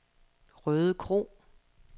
Rødekro